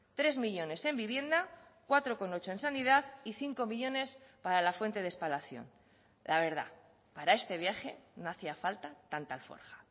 tres millónes en vivienda cuatro coma ocho en sanidad y cinco millónes para la fuente de espalación la verdad para este viaje no hacía falta tanta alforja